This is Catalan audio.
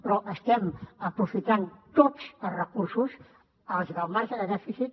però estem aprofitant tots els recursos els del marge de dèficit